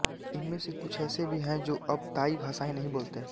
इनमें से कुछ ऐसे भी हैं जो अब ताई भाषाएँ नहीं बोलते